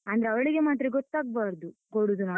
ಅಂದ್ರೆ ಅವಳಿಗೆ ಮಾತ್ರ ಗೊತ್ತಾಗ್ಬಾರ್ದು, ಕೊಡುದು ನಾವು.